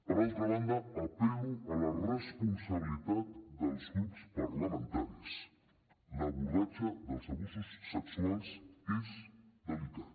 per altra banda apel·lo a la responsabilitat dels grups parlamentaris l’abordatge dels abusos sexuals és delicat